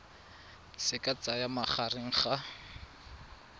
se ka tsayang magareng ga